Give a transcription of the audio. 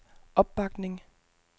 opbakning